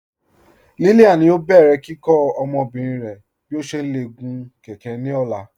Lílíán yóò bẹ̀rẹ̀ kíkọ́ ọmọbìrín rẹ̀ bí ó ṣé lè gún kẹ̀kẹ̀ ní ọ̀la.